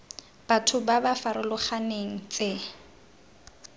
batho ba ba farologaneng tse